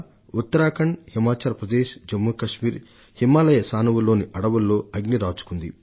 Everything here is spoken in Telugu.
ఉత్తరాఖండ్ హిమాచల్ ప్రదేశ్ జమ్ము కశ్మీర్ లోని హిమాలయ శ్రేణులలోని అడవులలో అగ్గి రాజుకున్నది